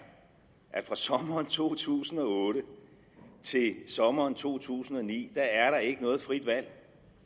at fra sommeren to tusind og otte til sommeren to tusind og ni er der ikke noget frit valg